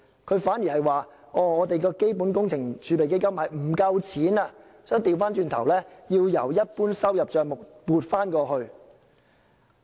他反而說基本工程儲備基金款額不夠，要由一般收入帳目調撥過去。